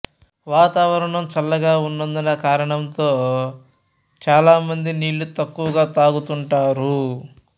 వాతావరణం చల్లగా ఉందన్న కారణంతో చాలా మంది నీళ్లు తక్కువగా తాగుతుంటారు